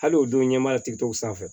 Hali o don ɲana tigɛtigɛw sanfɛ